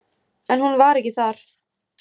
En hún var ekki þar.